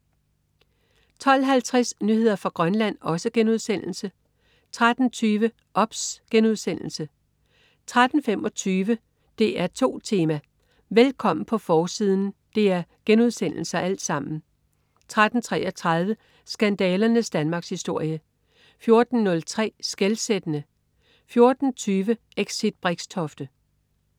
12.50 Nyheder fra Grønland* 13.20 OBS* 13.25 DR2 Tema: Velkommen på forsiden!* 13.33 Skandalernes Danmarkshistorie* 14.05 Skelsættende* 14.20 Exit Brixtofte*